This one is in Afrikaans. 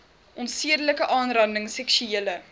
onsedelike aanranding seksuele